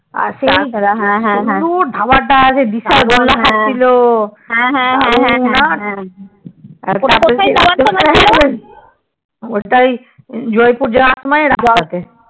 আর সেই কি সুন্দর ধাবা তা দিশা গোলা খাচ্ছিলো কি দারুন না ওটাই তো জয়পুর সময় রাস্তা তে